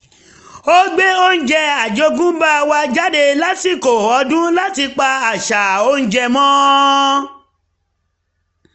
ó gbé oúnjẹ àjogúnbá wa jáde lásìkò ọdún láti pa àṣà oúnjẹ mọ́